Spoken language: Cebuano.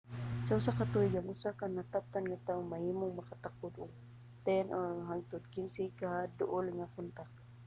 sa usa ka tuig ang usa ka nataptan nga tawo mahimong makatakod og 10 hangtod 15 ka duol nga kontak